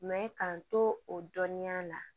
Mɛ k'an to o dɔnniya la